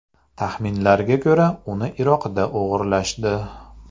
Taxminlarga ko‘ra, uni Iroqda o‘g‘irlashdi.